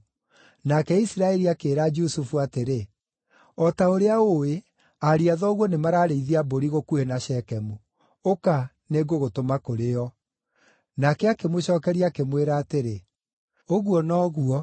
nake Isiraeli akĩĩra Jusufu atĩrĩ, “O ta ũrĩa ũũĩ, ariũ a thoguo nĩmararĩithia mbũri gũkuhĩ na Shekemu. Ũka, nĩngũgũtũma kũrĩ o.” Nake akĩmũcookeria, akĩmwĩra atĩrĩ, “Ũguo noguo.”